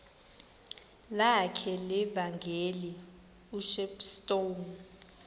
lakhe levangeli ushepstone